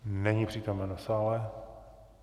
Není přítomen v sále.